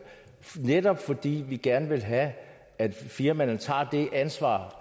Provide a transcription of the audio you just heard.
netop fordi vi gerne vil have at firmaerne tager det ansvar